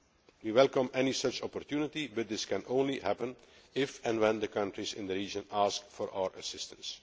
We welcome any such opportunity but this can only happen if and when the countries in the region ask for our assistance.